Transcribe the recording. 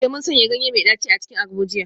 Eh, mun sanya ganye mai daci a cikin agbo jiya